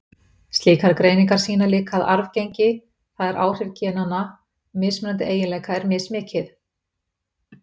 Slíkar greiningar sýna líka að arfgengi, það er áhrif genanna, mismunandi eiginleika er mismikið.